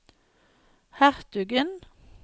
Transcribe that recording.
hertugen